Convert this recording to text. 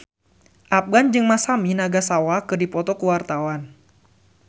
Afgan jeung Masami Nagasawa keur dipoto ku wartawan